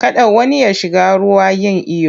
Kada wani ya shiga ruwa yin iyo!